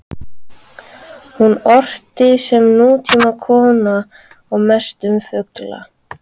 Hún orti sem nútímakona og mest um fugla.